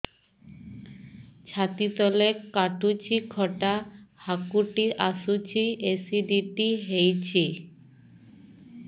ଛାତି ତଳେ କାଟୁଚି ଖଟା ହାକୁଟି ଆସୁଚି ଏସିଡିଟି ହେଇଚି